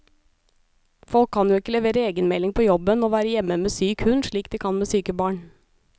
Folk kan jo ikke levere egenmelding på jobben og være hjemme med syk hund slik de kan med syke barn.